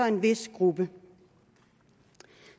en vis gruppe